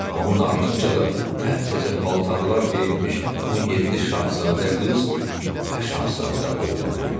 Onun ardınca da təptəzə paltarlar geyinmiş 17 şahzadə qız və şahzadə oğlan gəldi.